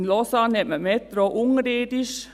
In Lausanne ist die Metro unterirdisch.